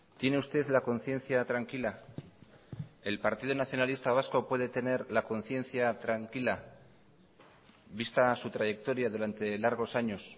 tiene usted la conciencia tranquila el partido nacionalista vasco puede tener la conciencia tranquila vista su trayectoria durante largos años